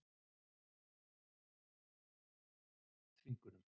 Og ég get sagt ykkur að við höfum ekki beitt hann neinum þvingunum.